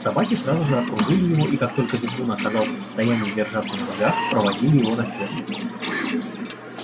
собаки сразу же окружили его и как только визгун оказался в состоянии держаться на ногах проводили его на ферму